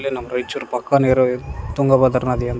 ಇಲ್ಲೇ ನಮ್ಮ ರಾಯಚೂರ್ ಪಕ್ಕನೆ ಇರೋ ತುಂಗಭದ್ರಾ ನದಿ ಅಂತ --